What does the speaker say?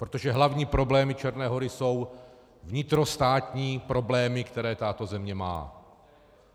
Protože hlavní problémy Černé Hory jsou vnitrostátní problémy, které tato země má.